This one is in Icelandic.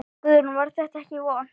Guðrún: Var þetta ekki vont?